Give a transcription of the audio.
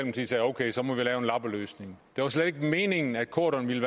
okay så må vi lave en lappeløsning det var slet ikke meningen at corydon ville